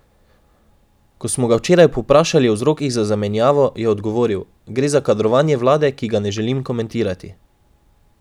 Ko smo ga včeraj povprašali o vzrokih za zamenjavo, je odgovoril: "Gre za kadrovanje vlade, ki ga ne želim komentirati.